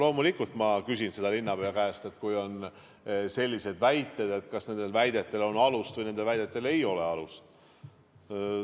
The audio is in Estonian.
Loomulikult küsin ma linnapea käest, kui on sellised väited, et kas nendel väidetel on alust või neil ei ole alust.